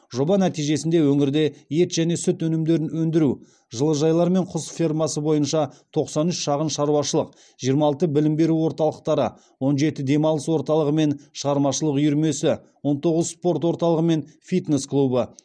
жоба нәтижесінде өңірде ет және сүт өнімдерін өндіру жылыжайлар мен құс фермасы бойынша тоқсан үш шағын шаруашылық жиырма алты білім беру орталықтары он жеті демалыс орталығы мен шығармашылық үйірмесі он тоғыз спорт орталығы мен фитнес клубы